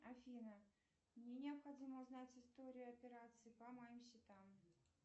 афина мне необходимо узнать историю операций по моим счетам